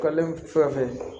Kɛlen fɛn fɛn